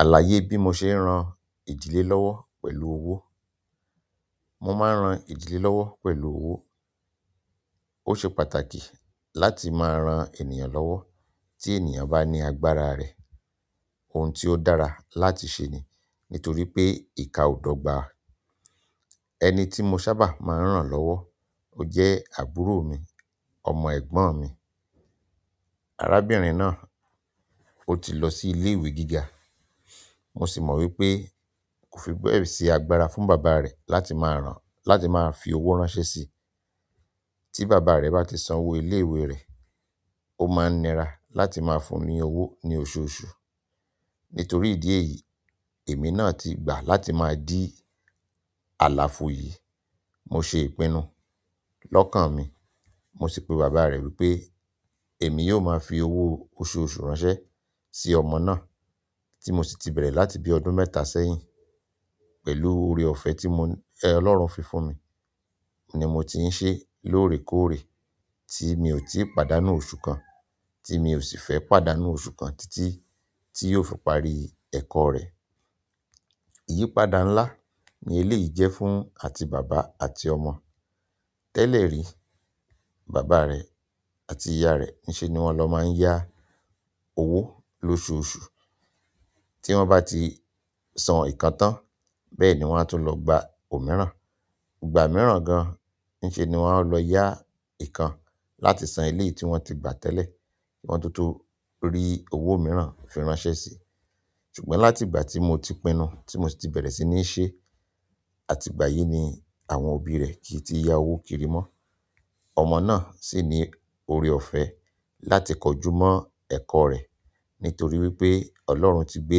Àlàyé bí mo ṣe ń ran ìdílé lọ́wọ́ pẹ̀lú owó. Mo máa ń ran ìdílé lọ́wọ́ pẹ̀lú owó. Ó ṣe pàtàkì láti máa ran ènìyàn lọ́wọ́. Tí ènìyàn bá ní agbára rẹ̀, ohun tí ó dára láti ṣe ni, nítorípé ìka ò dọ́gba. Eniti mo sábà ma n ran lowo, to je àbúrò mi, ọmọ egbon mi arábìnrin náà, ó ti lọ sí ilé ìwé gíga, mo sì mọ wípé kò fi bẹ́ẹ̀ sì agbára fún bàbá rẹ̀ láti máa rán-- láti máa fi owó ránṣẹ́ sí tí bàbá rẹ̀ bá ti san owó ilé ìwé rẹ̀, ó máa ń nira láti máa fún ní owó ní oṣooṣù. Nítorí ìdí èyí, èmi náà ti gbà láti máa di àlàfo yì. Mo ṣe ìpinnu lọ́kàn mi, mo sì pe bàbá rẹ̀ wípé èmi yóò máa fi owó oṣooṣù ránṣẹ́ sí ọmọ náà tí mo sì ti bẹ̀rẹ̀ láti bí ọdún mẹ́ta s'ẹ́yìn pẹ̀lú ọ̀rẹ́ ọ̀fẹ́ tí mo ẹ̀ Ọlọ́run fi fún mi ni mo ti ń ṣe lóòrèkóòrè tí mi ò tí p'àdánù oṣù kan, tí mi ò sì fẹ́ p'àdánù oṣù kan títí tí yóò fi parí ẹ̀kọ́ rẹ̀. Iyipada ńlá ni eléyìí jẹ́ fún àti bàbá àti ọmọ. Tẹ́lẹ̀ rí, bàbá rẹ̀ àti ìyá rẹ̀, ní ṣe ni wọ́n lọ máa ń yá owó lóṣooṣù tí wọ́n bá ti san ìkan tán, bẹ́ẹ̀ ni wọ́n á tó lọ gba òmíràn. Ìgbà mìíràn gan, ní ṣe ni wọ́n ó lọ yá ìkan láti san iléyi tí wọ́n ti gbà tẹ́lẹ̀ tí wọ́n tó tó rí owó mìíràn fi ránṣẹ́ sí. Ṣùgbọ́n láti ìgbà ti mo ti pinnu, ti mo si ti beere si ti n se, àti ìgbà yìí ni àwọn òbí re ki ti n ya owo kiri mo ọmọ náà sì ní ọ̀rẹ́ ọ̀fẹ́ láti kojúmọ́ ẹ̀kọ́ rẹ̀ nítorí wípé Ọlọ́run ti gbé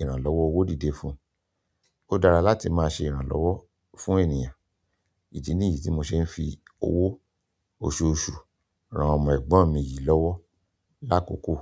ìrànlọ́wọ́ owó dídé fún. Ó dára láti máa ṣe ìrànlọ́wọ́ fún ènìyàn. Èyí ni èyí tí mo ṣe ń fi owó oṣooṣù ran ọmọ ẹ̀gbọ́n mi yìí lọ́wọ́ lákòókò.